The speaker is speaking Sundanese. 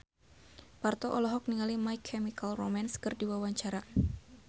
Parto olohok ningali My Chemical Romance keur diwawancara